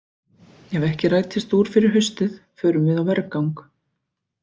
Ef ekki rætist úr fyrir haustið förum við á vergang!